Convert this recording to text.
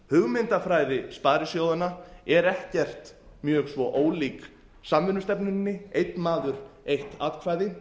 hugmyndafræði sparisjóðanna er ekkert mjög svo ólík samvinnustefnunni einn maður eitt atkvæði